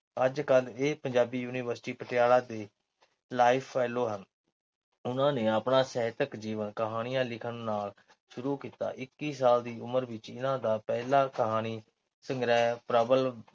ਅੱਜਕੱਲ ਇਹ ਪੰਜਾਬੀ University ਪਟਿਆਲਾ ਦੇ life-fellow ਉਹਨਾਂ ਨੇ ਆਪਣਾ ਸਾਹਿਤਕ ਜੀਵਨ ਕਹਾਣੀਆਂ ਲਿਖਣ ਨਾਲ ਸ਼ੁਰੂ ਕੀਤਾ। ਇੱਕੀ ਸਾਲ ਦੀ ਉਮਰ ਵਿੱਚ ਇਹਨਾਂ ਦਾ ਪਹਿਲਾ ਕਹਾਣੀ ਸੰਗ੍ਰਹਿ ਪ੍ਰਬਲ